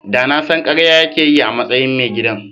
Da na san karya yake yi a matsayin mai gidan.